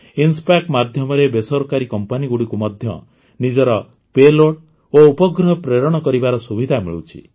IN-SPACe ମାଧ୍ୟମରେ ବେସରକାରୀ କମ୍ପାନୀଗୁଡ଼ିକୁ ମଧ୍ୟ ନିଜର ପେଲୋଡ୍ ଓ ଉପଗ୍ରହ ପ୍ରେରଣ କରିବାର ସୁବିଧା ମିଳୁଛି